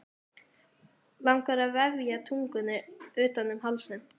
Langar að vefja tungunni utan um hálsinn.